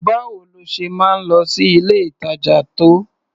Báwo lo ṣe máa ń lọ sí ilé-ìtàjà tó?